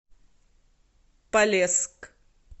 полесск